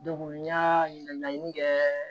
n y'a ɲininkali kɛ